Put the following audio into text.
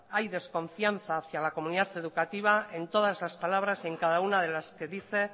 hay desconfianza hacia la comunidad educativa en todas las palabras en cada una de las que dice